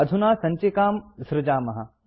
अधुना सञ्चिकां सृजामः